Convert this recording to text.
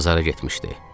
Bazara getmişdi.